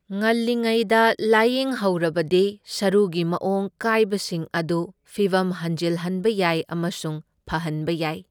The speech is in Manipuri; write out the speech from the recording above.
ꯉꯜꯂꯤꯉꯩꯗ ꯂꯥꯏꯌꯦꯡꯍꯧꯔꯕꯗꯤ ꯁꯔꯨꯒꯤ ꯃꯑꯣꯡ ꯀꯥꯏꯕꯁꯤꯡ ꯑꯗꯨ ꯐꯤꯚꯝ ꯍꯟꯖꯤꯜꯍꯟꯕ ꯌꯥꯏ ꯑꯃꯁꯨꯡ ꯐꯍꯟꯕ ꯌꯥꯏ꯫